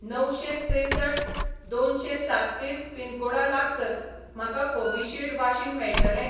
णवशें त्रेसठ दोनशें सात्तीस पिनकोडा लागसार म्हाका कोविशिल्ड वाशीन मेळटलें?